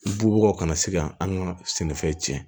Bubagaw kana se ka an ka sɛnɛfɛn tiɲɛ